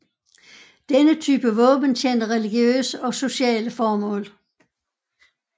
Denne type våbne tjente religiøse og sociale formål